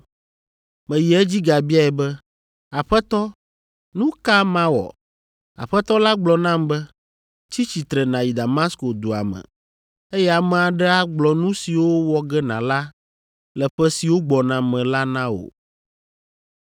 “Meyi edzi gabiae be, ‘Aƒetɔ nu ka mawɔ?’ “Aƒetɔ la gblɔ nam be, ‘Tsi tsitre nàyi Damasko dua me, eye ame aɖe agblɔ nu siwo wɔ ge nàla le ƒe siwo gbɔna me la na wo.’